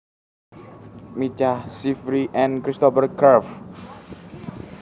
Micah Sifry and Christopher Cerf